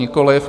Nikoliv.